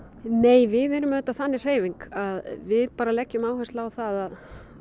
nei við erum auðvitað þannig hreyfing að við leggjum áherslu á það að